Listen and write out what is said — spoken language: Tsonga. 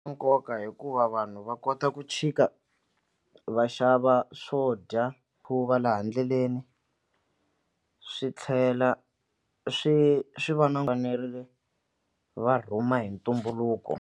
Nkoka hikuva vanhu va kota ku chika va xava swo dya ku va laha ndleleni swi tlhela swi swi va na fanerile va rhuma hi ntumbuluko.